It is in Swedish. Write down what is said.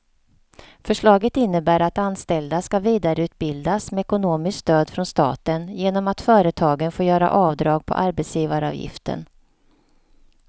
Förslaget innebär att anställda ska vidareutbildas med ekonomiskt stöd från staten genom att företagen får göra avdrag på arbetsgivaravgiften.